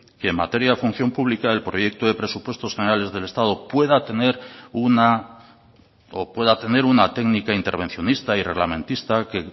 que en materia de función pública el proyecto de presupuestos generales del estado pueda tener una técnico intervencionista y reglamentista que